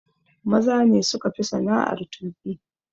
Maza ne suka fi sana'ar tuƙi.